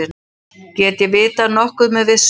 Get ég vitað nokkuð með vissu?